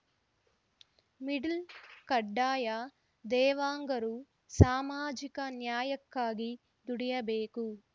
middle ಕಡ್ಡಾಯ ದೇವಾಂಗರು ಸಾಮಾಜಿಕ ನ್ಯಾಯಕ್ಕಾಗಿ ದುಡಿಯಬೇಕು